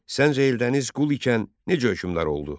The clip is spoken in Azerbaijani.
Səncə Eldəniz qul ikən necə hökmdar oldu?